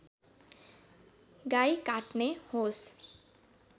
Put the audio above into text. गाई काट्ने होस्